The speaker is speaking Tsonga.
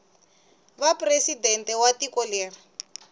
va presidente wa tiko leri